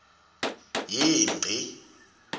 yingci